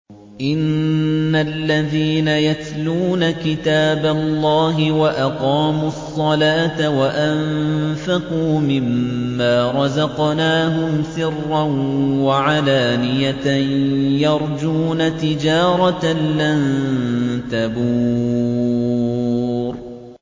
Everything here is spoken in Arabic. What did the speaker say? إِنَّ الَّذِينَ يَتْلُونَ كِتَابَ اللَّهِ وَأَقَامُوا الصَّلَاةَ وَأَنفَقُوا مِمَّا رَزَقْنَاهُمْ سِرًّا وَعَلَانِيَةً يَرْجُونَ تِجَارَةً لَّن تَبُورَ